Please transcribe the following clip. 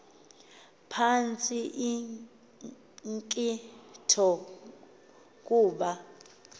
phantsi inkcitho kuba